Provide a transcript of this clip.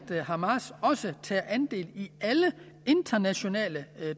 hamas også tager andel i alle internationale